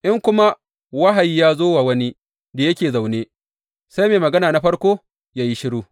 In kuma wahayi ya zo wa wani da yake zaune, sai mai magana na farko yă yi shiru.